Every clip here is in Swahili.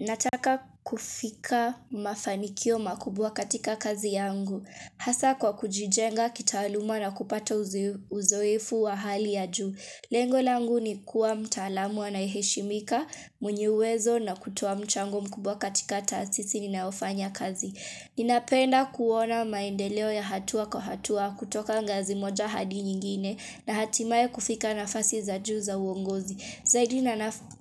Nataka kufika mafanikio makubwa katika kazi yangu. Hasa kwa kujijenga, kitaluma na kupata uzoefu wa hali ya juu. Lengo langu ni kuwa mtaalamu anayeheshimika, mwenyewezo na kutoa mchango mkubwa katika tasisi ninaofanya kazi. Ninapenda kuona maendeleo ya hatua kwa hatua kutoka ngazi moja hadi nyingine na hatimaye kufika nafasi za juu za uongozi.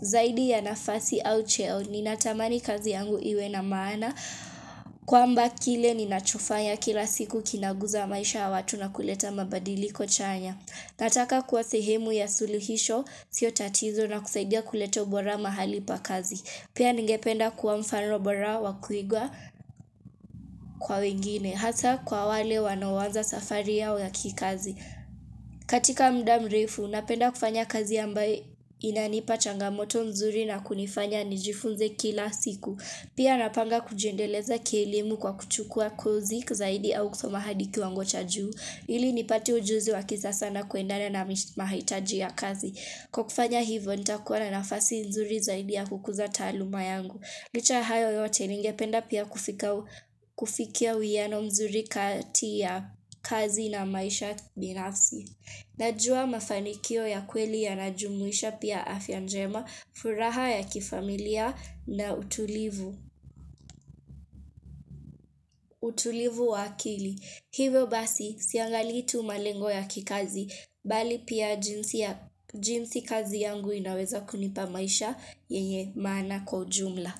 Zaidi ya nafasi au cheo ni natamani kazi yangu iwe na maana kwamba kile ni nachofanya kila siku kinaguza maisha wa watu na kuleta mabadiliko chanya. Nataka kwa sehemu ya suluhisho sio tatizo na kusaidia kuleta bora mahali pa kazi. Pia ningependa kuwa mfano bora wa kuigwa kwa wengine hasa kwa wale wanawanza safari ya wa kikazi. Katika muda mrefu, napenda kufanya kazi ambaye inanipa changamoto mzuri na kunifanya nijifunze kila siku. Pia napanga kujendeleza kielimu kwa kuchukua kozi kuzahidi au kusoma hadi kiwango chaju Ilinipati ujuzi wakisasa kuendana na mahitaji ya kazi kukufanya hivo, nitakuwa na nafasi mzuri zaidi ya kukuza taluma yangu Licha hayo yote ningependa pia kufikia wiyano mzuri kati ya kazi na maisha binafsi. Najua mafanikio ya kweli ya najumuisha pia afya njema, furaha ya kifamilia na utulivu, utulivu wakili. Hivyo basi siangali tu malengo ya kikazi, bali pia jinsi kazi yangu inaweza kunipa maisha yenye mana kwa jumla.